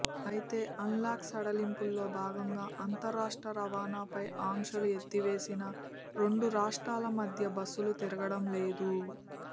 అయితే అన్లాక్ సడలింపుల్లో భాగంగా అంతర్రాష్ట్ర రవాణాపై ఆంక్షలు ఎత్తివేసినా రెండు రాష్ట్రాల మధ్య బస్సులు తిరగడం లేదు